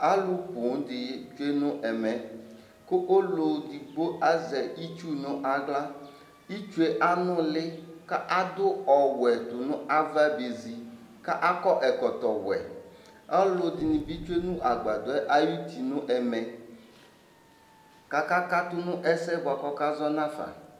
Alʋ poo dɩ tsue nʋ ɛmɛ kʋ ɔlʋ edigbo azɛ itsu nʋ aɣla Itsu yɛ anʋlɩ kʋ adʋ ɔwɛ tʋ nʋ ava bezi kʋ akɔ ɛkɔtɔwɛ Ɔlʋ dɩnɩ bɩ tsue nʋ agbadɔ yɛ ayuti nʋ ɛmɛ kʋ akakatʋ nʋ ɛsɛ yɛ bʋa kʋ ɔkazɔ nafa yɛ